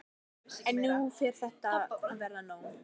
En nú fer þetta að verða nóg.